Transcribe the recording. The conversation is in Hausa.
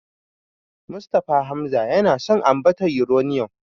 Mustapha Hamza yana son ambatar Yuraniyom.